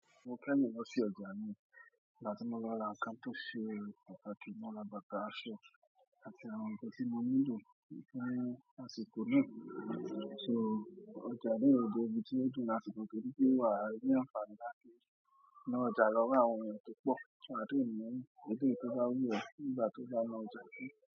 Mo kẹ́yìn lọ sí ọjà mi ìgbà tí mo lọ ra ǹkan tó ṣe pàtàkì, mo ra bàtà, aṣọ àti àwọn nǹkan tí mo nílò fún àsìkò náà. So ọjà yí o jẹ́ ibi tí ó dùn láti lọ torí pé wàá ni àǹfààní láti ná ọjà lọ́wọ́ àwọn ènìyàn tó pọ̀, wàá dẹ̀ mú eléyìí tó bá wù ọ́ nígbà tó bá lọ ọjà náà.